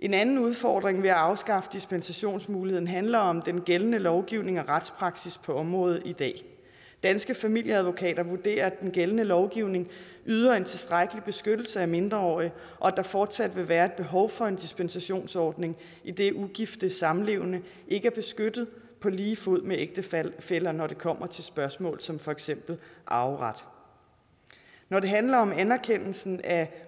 en anden udfordring ved at afskaffe dispensationsmuligheden handler om den gældende lovgivning og retspraksis på området i dag danske familieadvokater vurderer at den gældende lovgivning yder en tilstrækkelig beskyttelse af mindreårige og at der fortsat vil være et behov for en dispensationsordning idet ugifte samlevende ikke er beskyttet på lige fod med ægtefæller ægtefæller når det kommer til spørgsmål som for eksempel arveret når det handler om anerkendelsen af